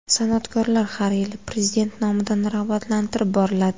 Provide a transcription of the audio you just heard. San’atkorlar har yili Prezident nomidan rag‘batlantirib boriladi.